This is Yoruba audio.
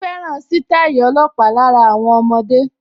Ó fẹ́ràn sítáì ọlọ́pàá lára àwọn ọmọdé